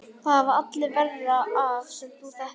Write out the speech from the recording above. Það hafa allir verra af sem þú þekkir!